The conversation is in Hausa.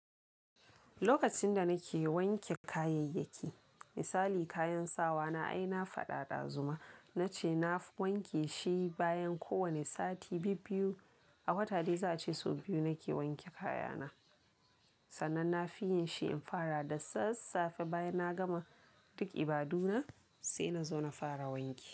Lokacin da nake wanke kayayyaki, misali kayan sawa na ai na fada dazu. Zu ma nace nafi wanke shi bayan kowane sati bibbiyu. A wata dai za ace sau biyu nake wanke kaya na. Sannan na fi yin shi in fara da sassafe bayan na gama duk ibaduna, sai nazo na fara wanki.